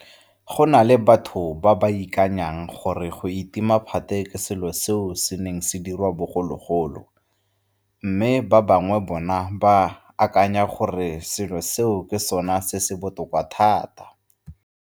Go na le batho ba ba akanyang gore go itima phate ke selo seo se neng se diriwa bogologolo, mme ba bangwe bona ba akanya gore selo seo ke sona se se botoka thata.